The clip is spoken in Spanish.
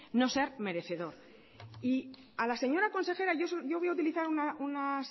no ser merecedor y a la señora consejera yo voy a utilizar una